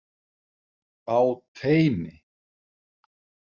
Á teini.